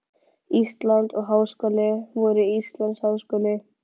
Íslands og háskóli vor Íslands háskóli.